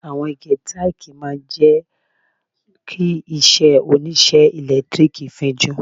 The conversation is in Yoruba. Àwọn ike tákìì máa ń jẹ́ kí iṣẹ́ oníṣẹ́ ẹ̀lẹ́tíríkì fín jú.